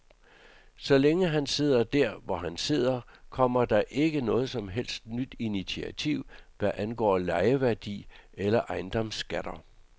Så længe han sidder dér, hvor han sidder, kommer der ikke noget som helst nyt initiativ, hvad angår lejeværdi eller ejendomsskatter.